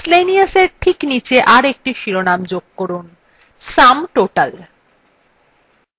miscellaneous we ঠিক নীচে আরএকটি শিরোনাম যোগ করুনsum total